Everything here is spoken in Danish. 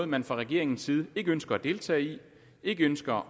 man fra regeringens side ikke ønsker at deltage i ikke ønsker